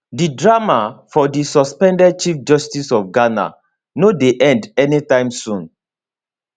di drama for di suspended chief justice of ghana no dey end anytime soon